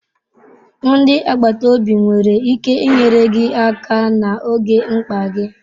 Ndi agbata obi nwere ike inyere gị aka n'oge mkpa gị.